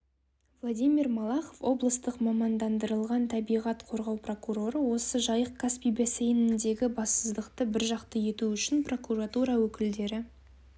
владимир малахов облыстық мамандандырылған табиғат қорғау прокуроры осы жайық-касспий бассейніндегі бассыздықты біржақты ету үшін прокуратура өкілдері